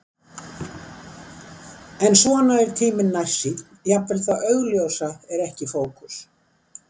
En svona er tíminn nærsýnn, jafnvel það augljósa er ekki í fókus.